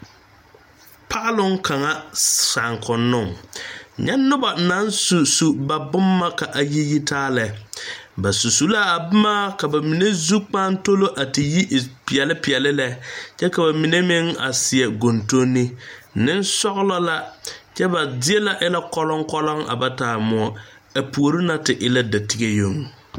Paaloŋ kaŋa saakonnoŋ nyɛ noba naŋ susu ba boma ka a yi yi taa lɛ ba su su la a boma ka ka mine zukpaatoli a te yi e peɛle peɛle lɛ kyɛ ka ba mine meŋ a seɛ gondonne nensɔglɔ la kyɛ ba zie na e la kɔloŋ kɔloŋ a ba taa moɔ ba puori na te e la datige yoŋ.